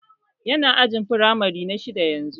Yana ajin firamare na shidda yanzu